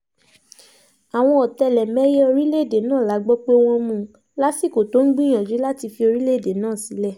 àwọn ọ̀tẹlẹ̀mẹ̀yẹ orílẹ̀‐èdè náà la gbọ́ pé wọ́n mú un lásìkò tó ń gbìyànjú láti fi orílẹ̀‐èdè náà sílẹ̀